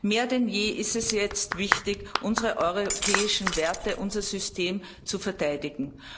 Mehr denn je ist es jetzt wichtig, unsere europäischen Werte, unser System zu verteidigen.